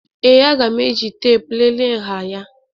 Ee, aga m eji teepu lelee nha ya